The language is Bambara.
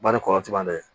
Bari kɔlɔlɔ caman dɛ